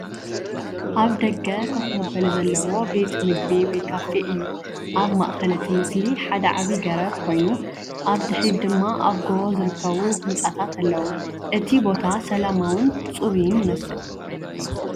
ኣብ ደገ ኮፍ መበሊ ዘለዎ ቤት መግቢ ወይ ካፌ እዩ። ኣብ ማእከል እቲ ምስሊ ሓደ ዓቢ ገረብ ኮይኑ፡ ኣብ ድሕሪት ድማ ኣብ ጎቦ ዝርከቡ ህንጻታት ኣለዉ። እቲ ቦታ ሰላማውን ጽሩይን ይመስል።